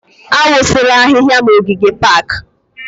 Awụsịla ahịhịa n'ogige pak!